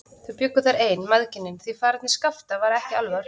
Þau bjuggu þar ein, mæðginin, því faðerni Skapta var ekki alveg á hreinu.